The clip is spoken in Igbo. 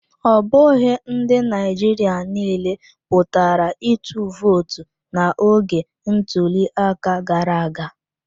Ọ bụghị ndị Naịjirịa niile pụtara ịtụ vootu n'oge ntuliaka gara aga.